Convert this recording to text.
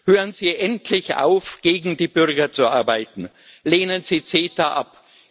Hören Sie endlich auf, gegen die Bürger zu arbeiten, lehnen Sie CETA ab!